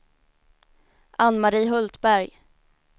Ann-Mari Hultberg